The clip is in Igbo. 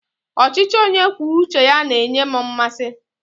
Ọchịchị onye kwuo uche ya na-enye m mmasị.